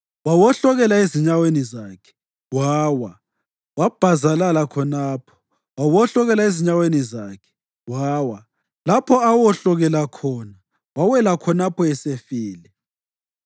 Wawohlokela ezinyaweni zakhe, wawa; wabhazalala khonapho. Wawohlokela ezinyaweni zakhe wawa; lapho awohlokela khona, wawela khonapho esefile.